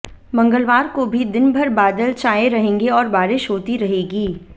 मंगलवार को भी दिनभर बादल छाए रहेंगे और बारिश होती रहेगी